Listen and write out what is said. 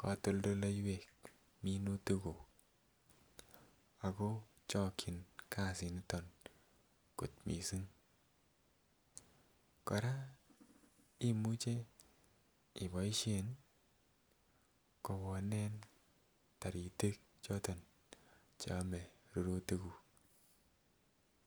kotoldoleiwek minutik kuk ako chikin kasit niton kot missing. Koraa imuche iboishen kowonen taritik choton cheome rurutik kuk.